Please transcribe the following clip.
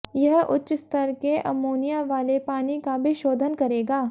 यह उच्च स्तर के अमोनिया वाले पानी का भी शोधन करेगा